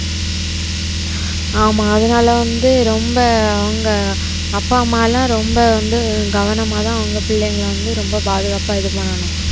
ஆமா அதனால வந்து ரொம்ப அவங்க அப்பா அம்மா எல்லாம் ரொம்ப வந்து கவனமாதான் உங்க பிள்ளைங்களை வந்து ரொம்ப பாதுகாப்பா இது பண்ணணும்